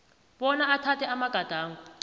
bona athathe amagadango